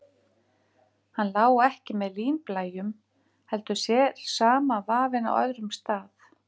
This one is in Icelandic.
Hann lá ekki með línblæjunum, heldur sér samanvafinn á öðrum stað.